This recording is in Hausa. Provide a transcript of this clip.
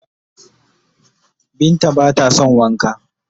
Binta ba ta don Wanka.